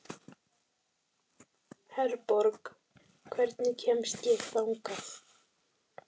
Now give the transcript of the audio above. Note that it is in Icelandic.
Herborg, hvernig kemst ég þangað?